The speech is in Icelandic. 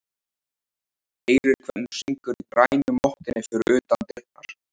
Heyrir hvernig syngur í grænu mottunni fyrir utan dyrnar.